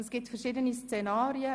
Es gibt verschiedene Szenarien.